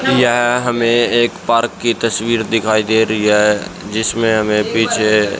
यह हमें एक पार्क की तस्वीर दिखाई दे रही है जिसमें हमें पीछे--